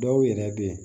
Dɔw yɛrɛ bɛ yen